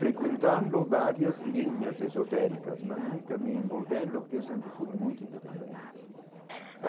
Frequentando várias linhas esotéricas, mas nunca me envolvendo porque eu sempre fui muito independente.